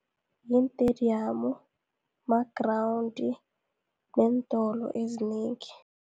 Yiintediyamu, magrawundi, neentolo ezinengi.